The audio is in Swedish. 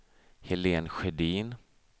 Helen Sjödin